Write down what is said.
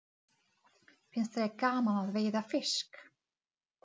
Til dæmis: aðdráttarafl, sjónauki og sporbaugur.